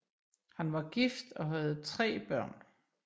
Han var gift og havde tre børn